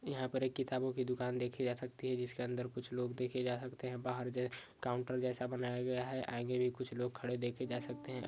यहा पर एक किताबों की दुकान देखी जा सकती है जिसके अंदर कुछ लोग देखे जा सकते है बाहर जे काउंटर जैसे बनाया गया है आगे भी कुछ लोग खड़े देखे जा सकते है।